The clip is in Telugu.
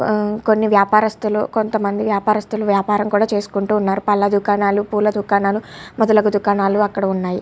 ఆ కొన్ని వ్యాపారస్తులు కొంతమంది వ్యాపారస్తులు వ్యాపారం కూడ చేసుకుంటు ఉన్నారు పళ్ళ దుకాణాలు పూల దుకాణాలు మొదలగు దుకాణాలు అక్కడ ఉన్నాయి.